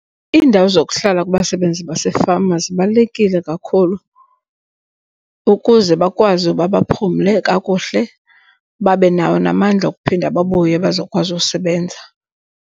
Iindawo zokuhlala kubasebenzi basefama zibalulekile kakhulu ukuze bakwazi uba baphumle kakuhle, babe nawo namandla okuphinda babuye bazokwazi ukusebenza.